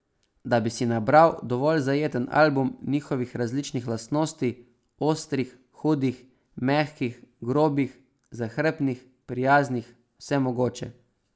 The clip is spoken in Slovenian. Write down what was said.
Da bi si nabral dovolj zajeten album njihovih različnih lastnosti, ostrih, hudih, mehkih, grobih, zahrbtnih, prijaznih, vsemogoče.